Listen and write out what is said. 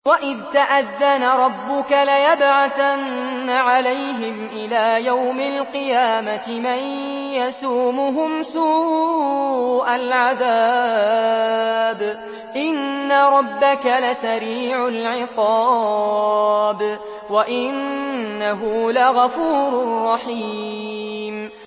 وَإِذْ تَأَذَّنَ رَبُّكَ لَيَبْعَثَنَّ عَلَيْهِمْ إِلَىٰ يَوْمِ الْقِيَامَةِ مَن يَسُومُهُمْ سُوءَ الْعَذَابِ ۗ إِنَّ رَبَّكَ لَسَرِيعُ الْعِقَابِ ۖ وَإِنَّهُ لَغَفُورٌ رَّحِيمٌ